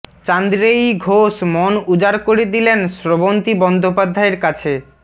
চান্দ্রেয়ী ঘোষ মন উজাড় করে দিলেন স্রবন্তী বন্দ্যোপাধ্যায়ের কাছে